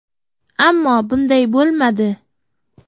Ammo bunday bo‘lmadi.